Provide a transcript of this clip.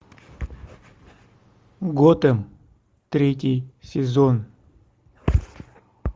готэм третий сезон